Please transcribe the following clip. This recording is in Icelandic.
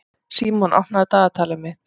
Símon, opnaðu dagatalið mitt.